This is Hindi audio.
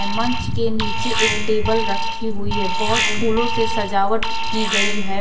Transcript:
मंच के नीचे एक टेबल रखी हुई है बहुत फूलों से सजावट की गई है।